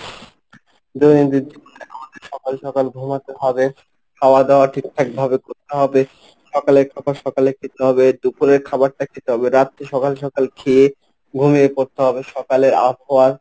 দৈনন্দিন জীবনে আমাদের সকাল সকাল ঘুমাতে হবে, খাওয়া দাওয়া ঠিকঠাক ভাবে করতে হবে, সকালে খাবার সকালে খেতে হবে, দুপুরের খাবারটা খেতে হবে, রাত্রে সকাল সকাল খেয়ে ঘুমিয়ে পড়তে হবে, সকালের আবহাওয়া।